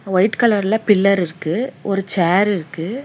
White கலர்ல pillar இருக்கு ஒரு சேரிருக்கு .